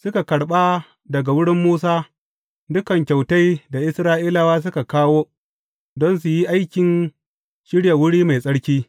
Suka karɓa daga wurin Musa dukan kyautai da Isra’ilawa suka kawo don su yi aikin shirya wuri mai tsarki.